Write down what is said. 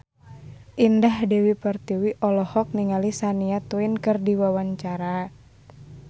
Indah Dewi Pertiwi olohok ningali Shania Twain keur diwawancara